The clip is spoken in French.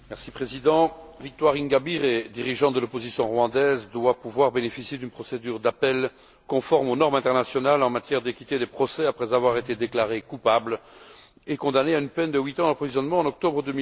Monsieur le Président, Victoire Ingabire, dirigeante de l'opposition rwandaise, doit pouvoir bénéficier d'une procédure d'appel conforme aux normes internationales en matière d'équité des procès, après avoir été déclarée coupable et condamnée à une peine de huit ans d'emprisonnement en octobre